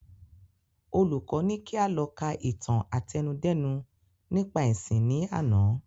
Olùkọ ní kí a lọ ka ìtàn àtẹnudẹ́nu nípa ẹ̀sìn ni àná